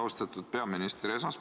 Austatud peaminister!